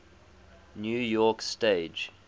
new york stage